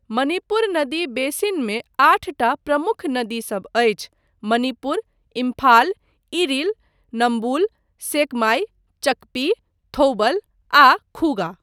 मणिपुर नदी बेसिनमे आठटा प्रमुख नदीसब अछि, मणिपुर, इम्फाल, इरिल, नम्बुल, सेकमाई, चकपी, थौबल आ खुगा।